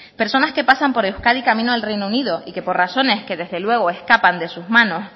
personas que pasan por euskadi camino al reino unido y que por razones que desde luego escapan de sus manos